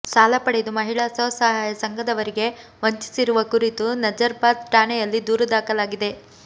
ಸಾಲ ಪಡೆದು ಮಹಿಳಾ ಸ್ವಸಹಾಯ ಸಂಘದವರಿಗೆ ವಂಚಿಸಿರುವ ಕುರಿತು ನಜರ್ ಬಾದ್ ಠಾಣೆಯಲ್ಲಿ ದೂರು ದಾಖಲಾಗಿದೆ